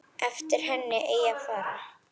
Eftir henni eigi að fara.